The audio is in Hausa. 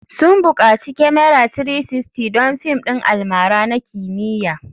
Sun bukaci kyamara 360 don fim ɗin almara na kimiyya.